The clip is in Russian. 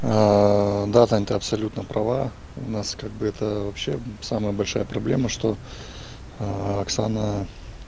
да тань ты абсолютно права у нас как бы это вообще самая большая проблема что оксана